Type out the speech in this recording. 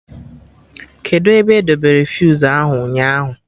Kedụ ebe edebere fuse ahụ ụnyaahụ?